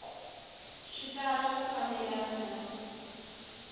swi tala ku fambelana na